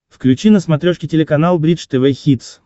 включи на смотрешке телеканал бридж тв хитс